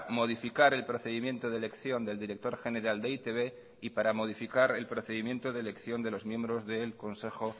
modificar el procedimiento de elección del director general de e i te be y para modificar el procedimiento de elección de los miembros del consejo